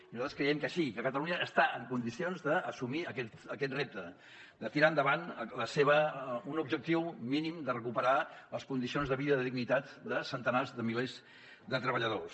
i nosaltres creiem que sí que catalunya està en condicions d’assumir aquest repte de tirar endavant un objectiu mínim de recuperar les condicions de vida i de dignitat de centenars de milers de treballadors